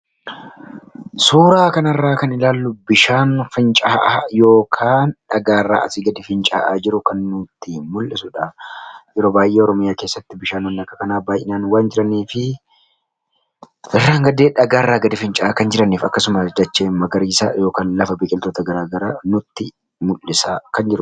Suura kana irraa kan arginu bishaan finca'aa yookaan dhagaa irraa asii gadi finca'aa jiru kan nutti mul'isudha. Yeroo baay'ee Oromiyaa keessatti bishaanonni akka kanaa baay'een waan jiraniifi irraan gadee dhagaa irraa finca'aa kan jiraniifi akkasuma dachee magariisa yookaan lafa biqiltoota gara garaa nutti mul'isaa kan jiru.